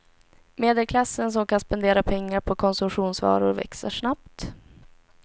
Medelklassen som kan spendera pengar på konsumtionsvaror växer snabbt.